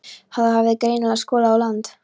Þar hafði henni greinilega skolað á land.